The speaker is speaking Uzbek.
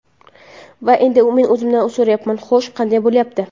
Va endi men o‘zimdan so‘rayapman: Xo‘sh, qanday bo‘lyapti?